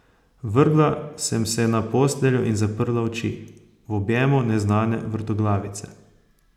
Vrgla sem se na posteljo in zaprla oči, v objemu neznane vrtoglavice.